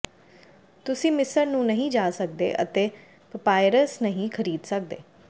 ਤੁਸੀਂ ਮਿਸਰ ਨੂੰ ਨਹੀਂ ਜਾ ਸਕਦੇ ਅਤੇ ਪਪਾਇਰਸ ਨਹੀਂ ਖਰੀਦ ਸਕਦੇ